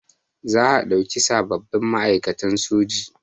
Za a ɗauki sababbin ma'aikatan soji